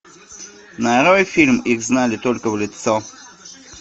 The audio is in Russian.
нарой фильм их знали только в лицо